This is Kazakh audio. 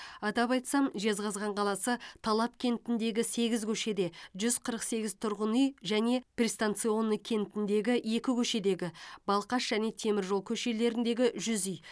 атап айтсам жезқазған қаласы талап кентіндегі сегіз көшеде жүз қырық сегіз тұрғын үй және пристанционный кентіндегі екі көшедегі балқаш және темір жол көшелеріндегі жүз үй